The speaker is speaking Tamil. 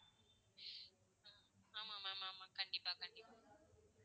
ஆமா ma'am ஆமா. கண்டிப்பா. கண்டிப்பா.